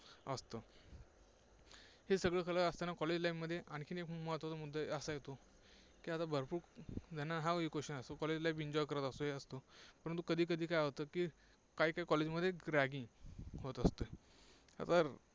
हे सगळं करत असताना, college life मध्ये आणखी एक महत्त्वाचा मुद्दा असा येतो की आता भरपूर जण हाही question असतो college life enjoy करत असतो, परंतु कधीकधी काय होतं की काहीकाही college मध्ये ragging होत असते, आता